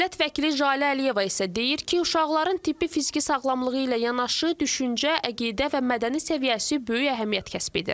Millət vəkili Jalə Əliyeva isə deyir ki, uşaqların tibbi-fiziki sağlamlığı ilə yanaşı düşüncə, əqidə və mədəni səviyyəsi böyük əhəmiyyət kəsb edir.